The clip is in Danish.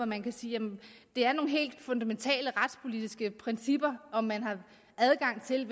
man kan sige at det er nogle helt fundamentale retspolitiske principper om man har adgang til